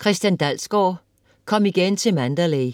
Dalsgaard, Christian: Kom igen til Mandalay